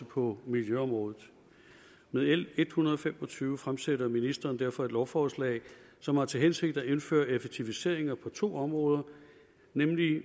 på miljøområdet med l en hundrede og fem og tyve fremsætter ministeren derfor et lovforslag som har til hensigt at indføre effektiviseringer på to områder nemlig